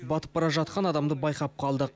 батып бара жатқан адамды байқап қалдық